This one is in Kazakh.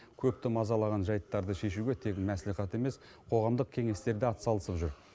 көпті мазалаған жайттарды шешуге тек мәслихат емес қоғамдық кеңестер де атсалысып жүр